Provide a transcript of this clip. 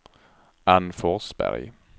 Anne Forsberg